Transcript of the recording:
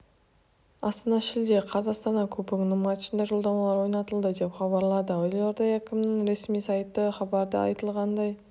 астана шілде қаз астанада кубогінің матчына жолдамалар ойнатылды деп хабарлады елорда әкімінің ресми сайты хабарда айтылғандай